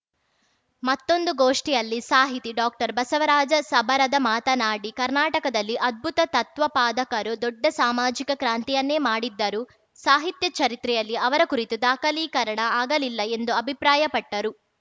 ಮತ್ತೊಂದು ಗೋಷ್ಠಿಯಲ್ಲಿ ಸಾಹಿತಿ ಡಾಕ್ಟರ್ಬಸವರಾಜ ಸಬರದ ಮಾತನಾಡಿ ಕರ್ನಾಟಕದಲ್ಲಿ ಅದ್ಭುತ ತತ್ವಪಾದಕಾರರು ದೊಡ್ಡ ಸಾಮಾಜಿಕ ಕ್ರಾಂತಿಯನ್ನೇ ಮಾಡಿದ್ದರೂ ಸಾಹಿತ್ಯ ಚರಿತ್ರೆಯಲ್ಲಿ ಅವರ ಕುರಿತು ದಾಖಲೀಕರಣ ಆಗಲಿಲ್ಲ ಎಂದು ಅಭಿಪ್ರಾಯಪಟ್ಟರು